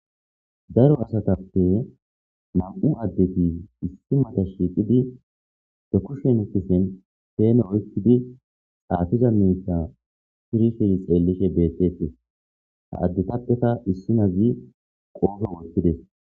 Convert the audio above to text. Daro asatappe nam7u addeti issi mata shiiqidi dekushshen ikisen feene oykidi xaatiza miita shirishey xeellishe beettetes ha addetappeka issinazi qooso woltides.